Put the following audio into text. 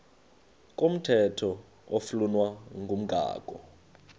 komthetho oflunwa ngumgago